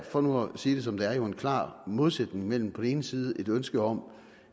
for nu at sige det som det er en klar modsætning mellem på den ene side et ønske om